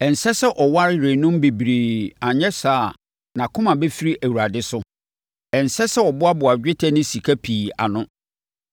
Ɛnsɛ sɛ ɔware yerenom bebree anyɛ saa a, nʼakoma bɛfiri Awurade so. Ɛnsɛ sɛ ɔboaboa dwetɛ ne sika pii ano.